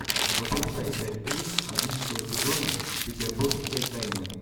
запускай часть три одиннадцатого сезона петербургской тайны